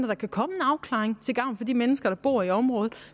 der kan komme en afklaring til gavn for de mennesker der bor i området